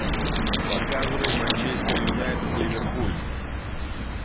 показывай манчестер юнайтед ливерпуль